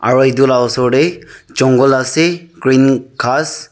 aru etu lah ushor teh jungle ase green ghass .